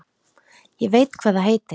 Ég veit hvað það heitir